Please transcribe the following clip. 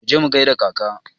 Mu je mu gaida kaka!